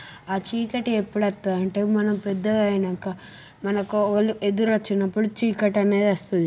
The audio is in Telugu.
ఆ చీకటి ఎప్పుడు అత్తది అంటే మనం పెద్ద గా అయినాక మనకు ఒక ఓళ్ళు ఎదురు ఒచ్చినప్పుడు చీకటి అనే ది ఒస్తది.